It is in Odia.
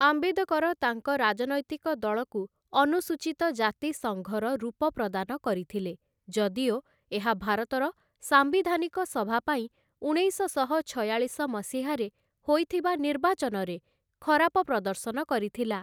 ଆମ୍ବେଦକର ତାଙ୍କ ରାଜନୈତିକ ଦଳକୁ ଅନୁସୂଚୀତ ଜାତି ସଙ୍ଘର ରୂପ ପ୍ରଦାନ କରିଥିଲେ, ଯଦିଓ ଏହା ଭାରତର ସାମ୍ବିଧାନିକ ସଭାପାଇଁ ଉଣେଇଶଶହ ଛୟାଳିଶ ମସିହାରେ ହୋଇଥିବା ନିର୍ବାଚନରେ ଖରାପ ପ୍ରଦର୍ଶନ କରିଥିଲା ।